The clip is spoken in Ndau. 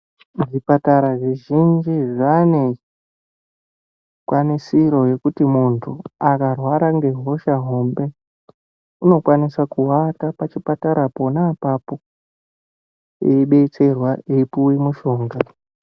Zvipatara zvizhinji zvane zvikwanisiro zvekuti muntu akarwara nehosha hombe unokwanisa kuwata pachipatara pona apapo eibetserwa eipuwa mushonga.